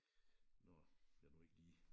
Når jeg jeg nu ikke lige